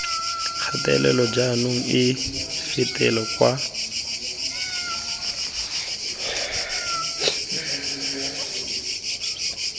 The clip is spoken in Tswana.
kgatelelo jaanong e fetela kwa